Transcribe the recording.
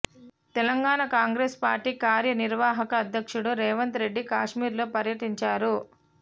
Telangana Congress party కార్య నిర్వాహక అధ్యక్షుడు రేవంత్రెడ్డి కాశ్మీర్లో పర్యటించారు